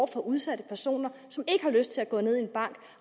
for udsatte personer som ikke har lyst til at gå ned i en bank